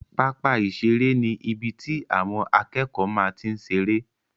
Pápá ìseré ni ibi tí àwọn akẹ́kọ̀ọ́ máa n tí seré